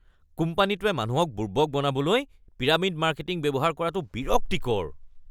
কোম্পানীটোৱে মানুহক বুৰ্বক বনাবলৈ পিৰামিড মাৰ্কেটিং ব্যৱহাৰ কৰাটো বিৰক্তিকৰ।